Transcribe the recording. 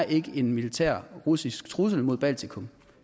ikke er en militær russisk trussel mod baltikum